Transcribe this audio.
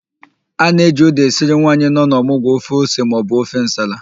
A na-eji ụ́dà esiri nwaanyị nọ n'ọmụgwọ ofe ose maọbụ ofe nsala.